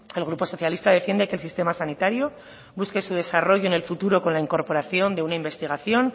el grupo socialista defiende que el sistema sanitario busque su desarrollo en el futuro con la incorporación de una investigación